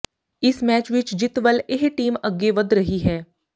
ਇਸ ਮੈਚ ਵਿਚ ਜਿੱਤ ਵੱਲ ਇਹ ਟੀਮ ਅੱਗੇ ਵਧ ਰਹੀ ਹੈ